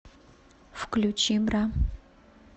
включи бра